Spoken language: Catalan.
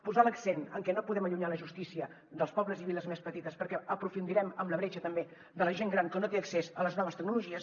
posar l’accent en que no podem allunyar la justícia dels pobles i viles més petites perquè aprofundirem en la bretxa també de la gent gran que no té accés a les noves tecnologies